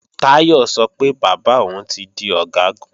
Táyọ̀ sọ pé bàbá òun ti di Ọ̀gágun